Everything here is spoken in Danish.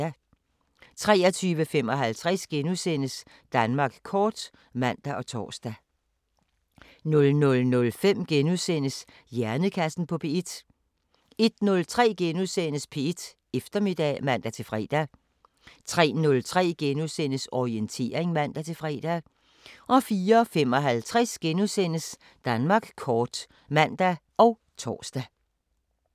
23:55: Danmark kort *(man og tor) 00:05: Hjernekassen på P1 * 01:03: P1 Eftermiddag *(man-fre) 03:03: Orientering *(man-fre) 04:55: Danmark kort *(man og tor)